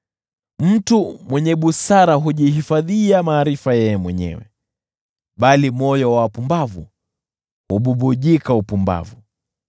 Mtu mwenye busara hujihifadhia maarifa yeye mwenyewe, bali moyo wa wapumbavu hububujika upumbavu.